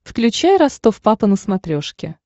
включай ростов папа на смотрешке